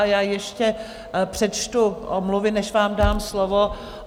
A já ještě přečtu omluvy, než vám dám slovo.